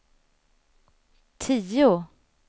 tio